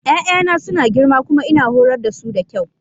Ya'yana suna girma kuma ina horar da su da kyau.